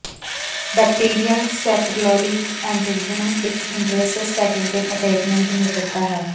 bacterial sacroiliac attachment ਇਕ interosseous sacroiliac attachment ਦੀ ਨਿਰੰਤਰਤਾ ਹੈ